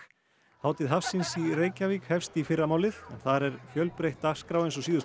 hátíð hafsins í Reykjavík hefst í fyrramálið en þar er fjölbreytt dagskrá eins og síðustu